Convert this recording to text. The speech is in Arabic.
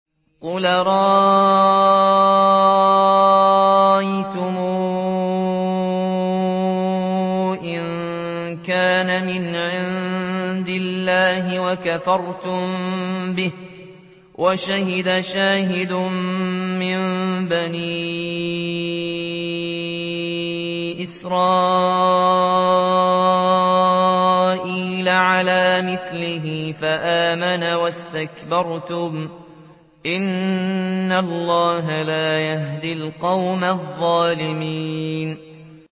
قُلْ أَرَأَيْتُمْ إِن كَانَ مِنْ عِندِ اللَّهِ وَكَفَرْتُم بِهِ وَشَهِدَ شَاهِدٌ مِّن بَنِي إِسْرَائِيلَ عَلَىٰ مِثْلِهِ فَآمَنَ وَاسْتَكْبَرْتُمْ ۖ إِنَّ اللَّهَ لَا يَهْدِي الْقَوْمَ الظَّالِمِينَ